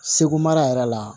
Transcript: Segu mara yɛrɛ la